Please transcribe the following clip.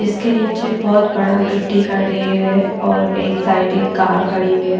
जिसके नीचे बहुत बड़ा गिट्ठी का ढेर है और एक साइड एक कार खड़ी हुई है।